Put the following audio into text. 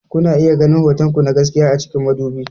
Kuna iya ganin hotonku na gaskiya a cikin madubi.